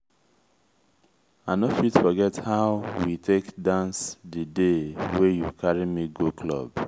i no fit forget how how we take dance di day wey you carry me go club.